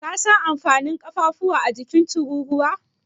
Ka san amfanin ƙafafuwa a jikin Tururuwa?